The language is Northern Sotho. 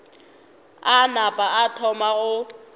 a napa a thoma go